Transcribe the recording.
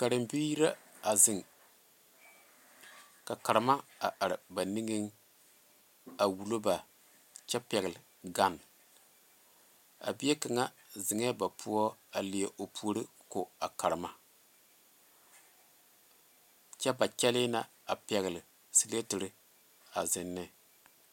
Karebiiri la a zeŋ ka karema a are ba niŋe a wulo ba kyɛ pegle gane a bie kaŋa zeŋee ba poɔ a leɛ o puori a ko a karema kyɛ ba kyɛle na a pegle sileetere a zeŋ ne.